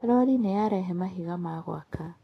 Rori nĩ yarehe mahiga ma gwaka.